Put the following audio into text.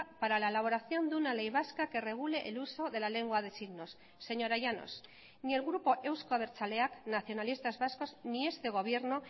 para la elaboración de una ley vasca que regule el uso de la lengua de signos señora llanos ni el grupo euzko abertzaleak nacionalistas vascos ni este gobierno